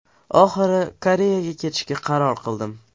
Oxiri Koreyaga ketishga qaror qildim.